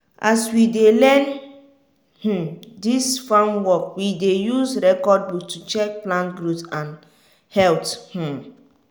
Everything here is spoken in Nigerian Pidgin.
as we dey learn um dis farm work we dey use record book to check plant growth and health. um